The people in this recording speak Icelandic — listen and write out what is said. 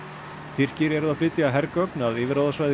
Tyrkir eru að flytja hergögn að yfirráðasvæði